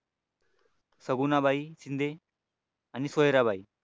सगुना बाई शिंदे आणि सोयराबाई